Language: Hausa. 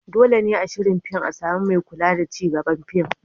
Dole ne a shirin fin a samu mai kula da ci gaban fin.